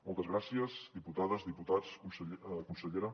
moltes gràcies diputades diputats consellera